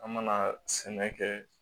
An mana sɛnɛ kɛ